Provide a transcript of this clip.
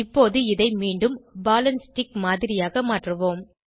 இப்போது இதை மீண்டும் பால் ஆண்ட் ஸ்டிக் மாதிரியாக மாற்றுவோம்